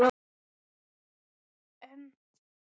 En strákurinn sem laumaðist út í storminn hafði verið vina